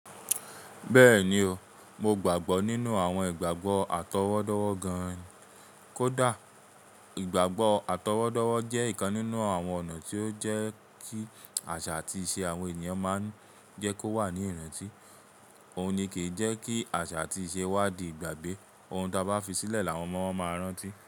Bẹ́ẹ̀ni o, mo gbàgbọ́ nínú àwọn ìgbàgbọ́ àtọwọ́dọ́wọ́ gan-an kódà. Ìgbàgbọ́ àtọwọ́dọ́wọ́ jẹ́ ìkan nínú àwọn ọ̀nà tí ó ń jẹ́ kí àṣà àti ìṣe àwọn ènìyàn máa jẹ́ kó wà ní ìrántí. Òun ni kì í jẹ́ kí àṣà àti ìṣe wá di ìgbàgbé. Ohun ta bá fi sílẹ̀ làwọn ọmọ wọn máa rántí.